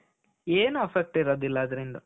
ಏನೂ effect ಇರೋದಿಲ್ಲಾ ಅದರಿಂದ.